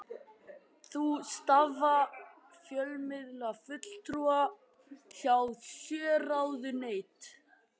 Þá starfa fjölmiðlafulltrúar hjá sjö ráðuneytum